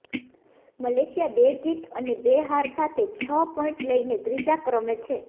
Malaysia બે જીત અને બે હાર સાથે છ પોઈન્ટ લઈને ત્રીજા ક્રમે છે